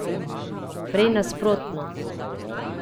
Prej nasprotno.